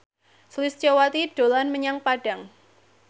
Sulistyowati dolan menyang Padang